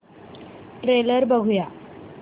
trailer बघूया